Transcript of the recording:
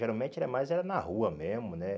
Geralmente era mais era na rua mesmo, né?